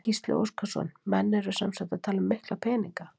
Gísli Óskarsson: Menn eru sem sagt að tala um mikla peninga?